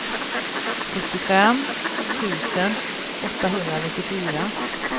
sjuttiofem tusen åttahundranittiofyra